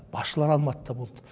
басшылар алматыда болды